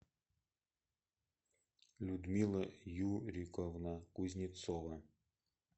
людмила юриковна кузнецова